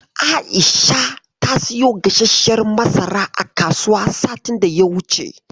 Aisha ta siyo gasasshiyar masara a kasuwa satin da ya wuce.